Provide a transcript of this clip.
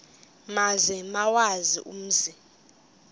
maze bawazi umzi